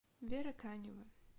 вера канева